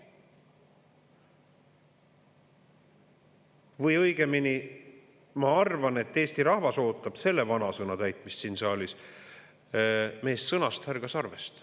Või õigemini, ma arvan, et Eesti rahvas ootab selle vanasõna täitmist siin saalis: "Meest sõnast, härga sarvest".